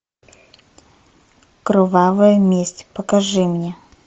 кровавая месть покажи мне